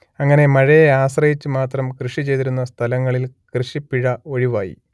അങ്ങനെ മഴയെ ആശ്രയിച്ചു മാത്രം കൃഷി ചെയ്തിരുന്ന സ്ഥലങ്ങളിൽ കൃഷിപ്പിഴ ഒഴിവായി